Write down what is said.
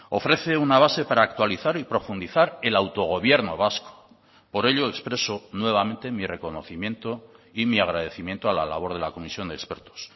ofrece una base para actualizar y profundizar el autogobierno vasco por ello expreso nuevamente mi reconocimiento y mi agradecimiento a la labor de la comisión de expertos